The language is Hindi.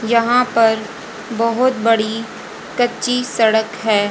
यहां पर बहोत बड़ी कच्ची सड़क है।